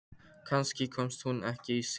Kannski komst hún ekki í síma.